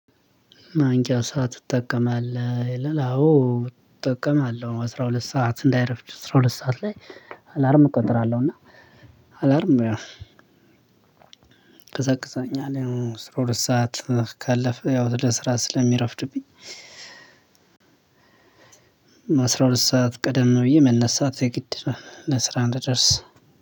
ማንቂያ ሰዓት ትጠቀማለህ? ይላል አዎ እጠቀማለሁ አስራ ሁለት ሰዓት እንዳይረፍድ አስራ ሁለት ሰዓት ላይ አላርም እቆጥራለሁ። እና አላርም ያው ከሰቅሰኛ ላይ ሰዓት ካለፈ ያው ለስራ ስለሚረፍድብኝ። አስራ ሁለት ሰዓት ቀደም ነው ብዬ መነሳት የግድ ለስራ እንድደርስ